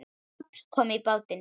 En babb kom í bátinn.